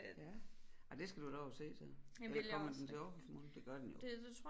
Ja ja det skal du da over at se så eller kommer den til Aarhus måske det gør den jo